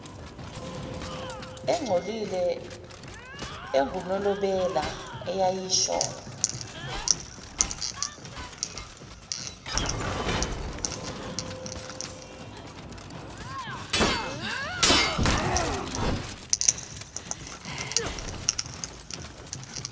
engcolile engunobela eyayisho